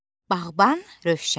Bağban Rövşən.